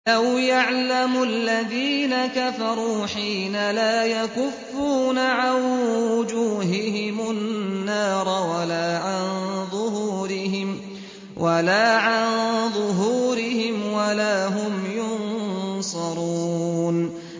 لَوْ يَعْلَمُ الَّذِينَ كَفَرُوا حِينَ لَا يَكُفُّونَ عَن وُجُوهِهِمُ النَّارَ وَلَا عَن ظُهُورِهِمْ وَلَا هُمْ يُنصَرُونَ